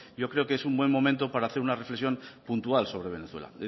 yo creo que es un buen momento para hacer una reflexión puntual sobre venezuela